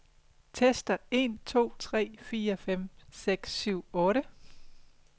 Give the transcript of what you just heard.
Tester en to tre fire fem seks syv otte.